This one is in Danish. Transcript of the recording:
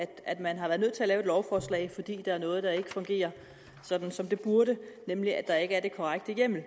at man har været nødt til at lave et lovforslag fordi der er noget der ikke fungerer sådan som det burde nemlig at der ikke er den korrekte hjemmel